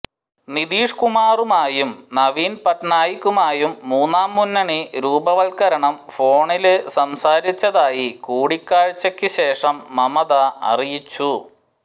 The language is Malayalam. നിതീഷ് കുമാറുമായും നവീന് പട്നായികുമായും മൂന്നാം മുന്നണി രൂപവത്കരണം ഫോണില് സംസാരിച്ചതായി കൂടിക്കാഴ്ചക്ക് ശേഷം മമത അറിയിച്ചു